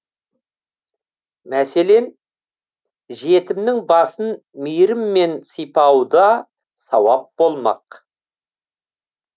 мәселен жетімнің басын мейіріммен сипауда сауап болмақ